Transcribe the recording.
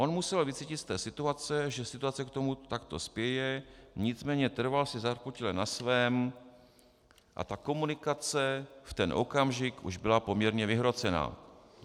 On musel vycítit z té situace, že situace k tomu takto spěje, nicméně trval si zarputile na svém a ta komunikace v ten okamžik už byla poměrně vyhrocená!" -